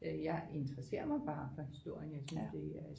Jeg interesserer mig bare for historien jeg synes det er